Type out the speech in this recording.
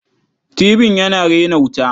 Tibin yana rena wuta.